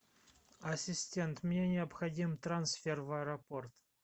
ассистент мне необходим трансфер в аэропорт